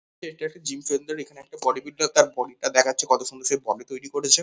এটা একটি gym centre এখানে বডি বিল্ডার তার বডি - টা দেখাচ্ছে কত সুন্দর সে বডি তৈরি করেছে।